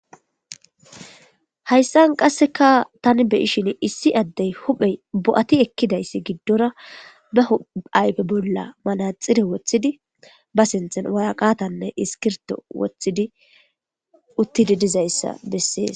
Hayisan qasika tani be,ishin issi ade huphe bo,ati ekizayisi gidora be ayife bolla manaxire wotidi ba sinthan woraqata nne iskibirto wotidi utidi dizayisa beses